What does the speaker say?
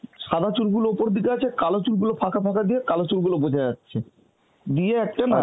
সাদা চুলগুলো ওপর দিকে আছে, কালো চুল গুলো ফাঁকা ফাঁকা দিয়ে কালো চুল গুলো বোঝা যাচ্ছে. দিয়ে একটা না